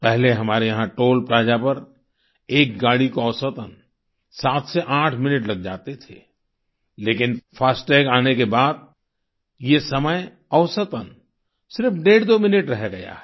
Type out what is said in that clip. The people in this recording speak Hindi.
पहले हमारे यहाँ टॉल प्लाजा पर एक गाड़ी को औसतन 7 से 8 मिनट लग जाते थे लेकिन फास्टैग आने के बाद ये समय औसतन सिर्फ डेढ़दो मिनट रह गया है